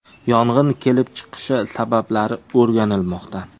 Yong‘in kelib chiqishi sabablari o‘rganilmoqda.